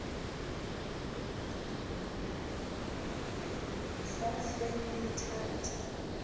sasemthatha